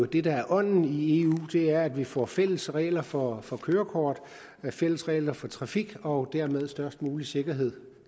det der er ånden i eu er at vi får fælles regler for for kørekort fælles regler for trafik og dermed størst mulig sikkerhed